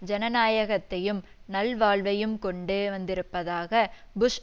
ஜனநாயகத்தையும் நல்வாழ்வையும் கொண்டு வந்திருப்பதாக புஷ்